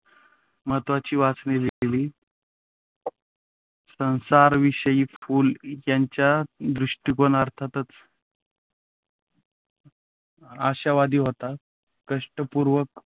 महत्त्वाची वचने लिहिली. संसाराविषयी फुले यांचा दृष्टिकोन अर्थातच आशावादी होता. कष्टपूर्वक